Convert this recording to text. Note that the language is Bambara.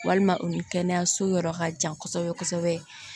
Walima u ni kɛnɛyaso yɔrɔ ka jan kosɛbɛ kosɛbɛ